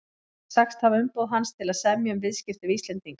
hefði sagst hafa umboð hans til að semja um viðskipti við Íslendinga.